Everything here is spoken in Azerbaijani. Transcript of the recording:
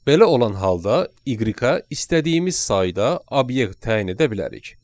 Belə olan halda y-ə istədiyimiz sayda obyekt təyin edə bilərik.